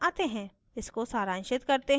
slides पर वापस आते हैं